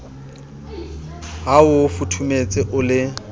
ha o futhumetse o le